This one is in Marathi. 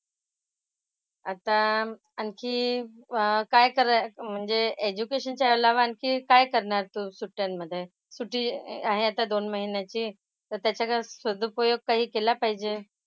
अह आता आणखी काय कराय म्हणजे एज्युकेशनच्या अलावा आणखी काय करणार तू सुट्ट्यांमधे? सुट्टी आहे आता दोन महिन्याची. तर त्याचा काय सदुपयोग काही केला पाहिजे.